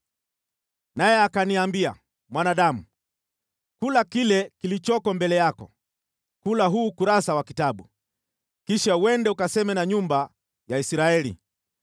Naye akaniambia, “Mwanadamu, kula kile kilichoko mbele yako, kula huu ukurasa wa kitabu, kisha uende ukaseme na nyumba ya Israeli.”